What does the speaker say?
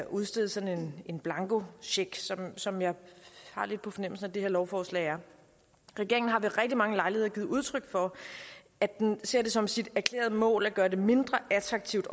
udsteder sådan en blankocheck som jeg har lidt på fornemmelsen at det her lovforslag er regeringen har ved rigtig mange lejligheder givet udtryk for at den ser det som sit erklærede mål at gøre det mindre attraktivt